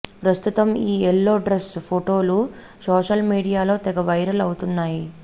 ప్రస్తుతం ఈ yellow dress ఫోటోలు సోషల్ మీడియాలో తెగ వైరల్ అవుతున్నాయి